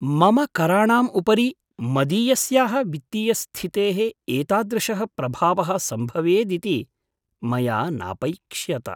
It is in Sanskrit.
मम कराणाम् उपरि मदीयस्याः वित्तीयस्थितेः एतादृशः प्रभावः सम्भवेदिति मया नापैक्ष्यत।